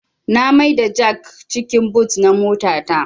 Na mai da jak cikin but na mota ta